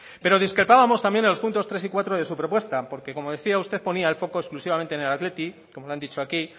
pero destacábamos también los puntos tres y cuatro de su propuesta porque como decía usted ponía el foco exclusivamente en el athletic como le han dicho aquí